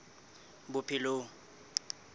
bophelong